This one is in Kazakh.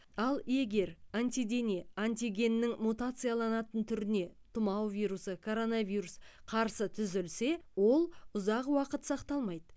ал егер антидене антигеннің мутацияланатын түріне тұмау вирусы короновирус қарсы түзілсе ол ұзақ уақыт сақталмайды